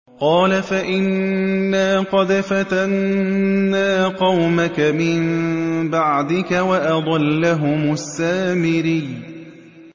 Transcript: قَالَ فَإِنَّا قَدْ فَتَنَّا قَوْمَكَ مِن بَعْدِكَ وَأَضَلَّهُمُ السَّامِرِيُّ